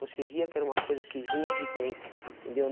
Você via que era uma coisa que vinha de dentro, entendeu?